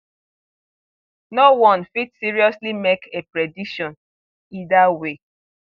noone fit seriously make a prediction either way